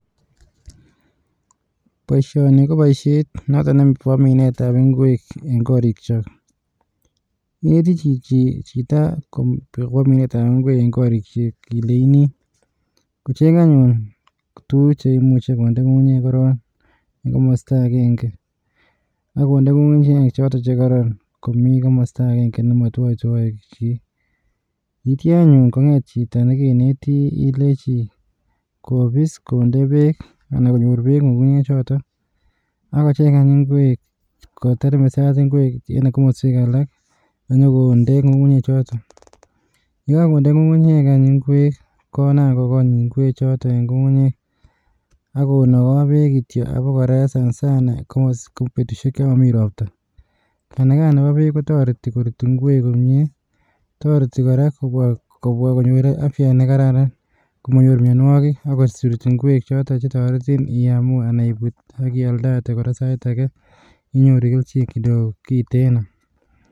Boishoni, koboishiet noton neboo minetab ing'wek en korikyok. Ichere chichi, chito akobo minetab ing'wek en korikyok ilenyini kocheng anyun, tuguuk cheimuche kondee ngungunyek koron. En komosto avenge, ak konde ng'ung'unyek choton chekororon komostoo agenge chemokitwoitwoi chi. Ak anyun ko nget chito nekenetii, ilenyii kobiis kondee beek ana koriruch ngungunyek. Ak kochengany ing'wek ,ketermesat ing'wek en komoswek alak, konyokonnde ngungunyekchoton.ye kakondee ngungunyek any ingwek konaam kogool any ing'wechoton en ngungunyek. Ak konogoo beek kityook, abokora sanasana, ko betusiek chemomii roptaa. Kanagaani no beek kotoretii, ing'wek koruut komie, toretii kora konyoor afyaa nekararan komonyoor mionwogik. Ak kobwa ingwek choton chekororom chekiome anan kealdat kora saitage, inyoru kelchiin kitten o.